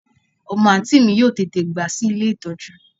Omo anti mi yoo tete gba si ile itoju